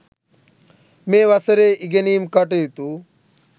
මේ වසරේ ඉගෙනීම් කටයුතු